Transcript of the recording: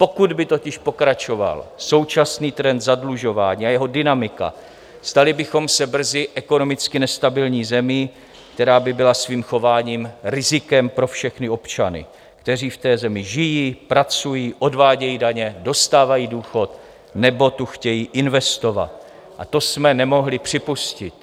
Pokud by totiž pokračoval současný trend zadlužování a jeho dynamika, stali bychom se brzy ekonomicky nestabilní zemí, která by byla svým chováním rizikem pro všechny občany, kteří v té zemi žijí, pracují, odvádějí daně, dostávají důchod nebo tu chtějí investovat, a to jsme nemohli připustit.